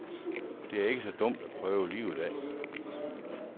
Det er ikke så dumt at prøve livet af.